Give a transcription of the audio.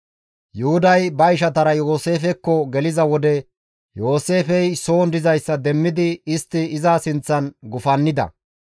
Yuhuday ba ishatara Yooseefekko geliza wode Yooseefey soon dizayssa demmidi istti iza sinththan gufannida.